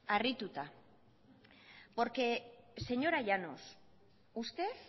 harrituta porque señora llanos usted